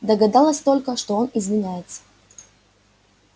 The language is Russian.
догадалась только что он извиняется